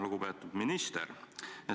Lugupeetud minister!